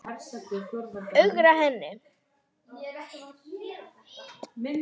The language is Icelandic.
Ögra henni.